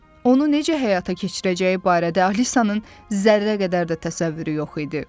Onu necə həyata keçirəcəyi barədə Alisanın zərrə qədər də təsəvvürü yox idi.